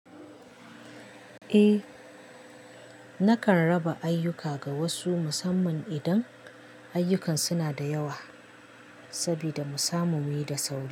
Eh, nakan raba ayyuka ga wasu musamman idan ayyukan suna da yawa sabida musa mu muyi da sauri.